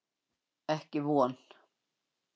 Ekki von.